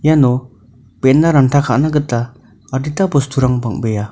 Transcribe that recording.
iano be·ena ranta ka·na gita adita bosturang bang·bea.